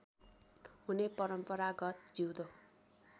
हुने परम्परागत जिउँदो